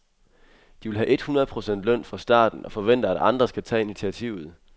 De vil have et hundrede procent løn fra starten, og forventer at andre skal tage initiativet.